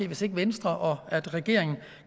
hvis ikke venstre og regeringen